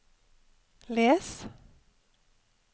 les